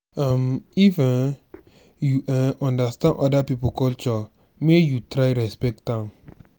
um even if um you no um understand oda pipo culture make you try respect am.